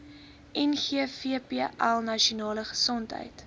ngvpl nasionale gesondheid